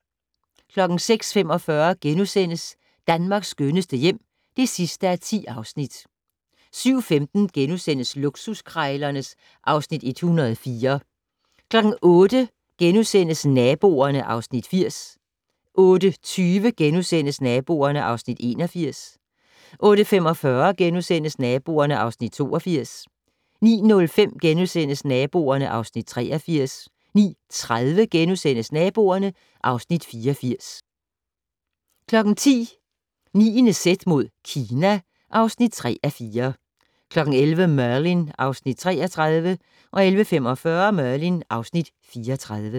06:45: Danmarks skønneste hjem (10:10)* 07:15: Luksuskrejlerne (Afs. 104)* 08:00: Naboerne (Afs. 80)* 08:20: Naboerne (Afs. 81)* 08:45: Naboerne (Afs. 82)* 09:05: Naboerne (Afs. 83)* 09:30: Naboerne (Afs. 84)* 10:00: 9.z mod Kina (3:4) 11:00: Merlin (Afs. 33) 11:45: Merlin (Afs. 34)